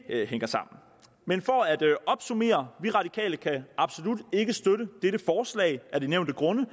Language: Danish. hænger sammen men for at opsummere vi radikale kan absolut ikke støtte dette forslag af de nævnte grunde